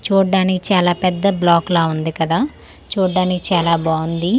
చూడడానికి చాలా పెద్ద బ్లాక్ లా ఉంది కదా చూడడానికి చాలా బాగుంది అలా--